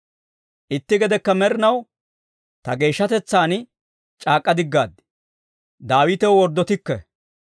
«Itti gedekka med'inaw ta geeshshatetsaan c'aak'k'a diggaad; Daawitew worddotikke.